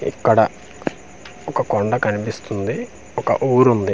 ఇక్కడ ఒక కొండ కనిపిస్తుంది ఒక ఊరు ఉంది.